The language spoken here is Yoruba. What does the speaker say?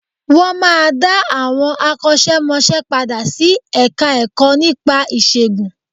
Wọ́n máa dá àwọn akọ́ṣẹ́ mọṣẹ́ padà sí Ẹ̀ka-ẹ̀kọ́ nípa ìṣègùn